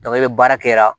i bɛ baara kɛ